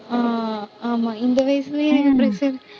ஆஹ் ஆமாம், இந்த வயசுலயே pressure